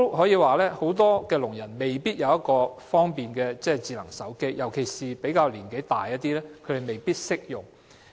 此外，很多聾人未必有智能手機，尤其較年長的亦未必懂得使用。